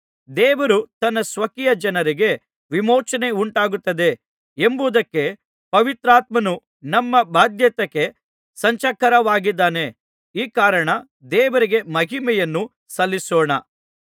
ದೇವರು ತನ್ನ ಸ್ವಕೀಯ ಜನರಿಗೆ ವಿಮೋಚನೆಯುಂಟಾಗುತ್ತದೆ ಎಂಬುದಕ್ಕೆ ಪವಿತ್ರಾತ್ಮನು ನಮ್ಮ ಬಾಧ್ಯತೆಗೆ ಸಂಚಕಾರವಾಗಿದ್ದಾನೆ ಈ ಕಾರಣ ದೇವರಿಗೆ ಮಹಿಮೆಯನ್ನು ಸಲ್ಲಿಸೋಣ